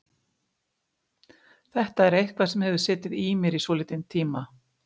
Þetta er eitthvað sem hefur setið í mér í svolítinn tíma.